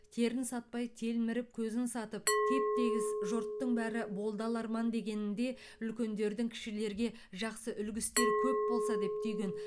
терін сатпай телміріп көзін сатып теп тегіс жұрттың бәрі болды аларман дегенінде үлкендердің кішілерге жақсы үлгі істері көп болса деп түйген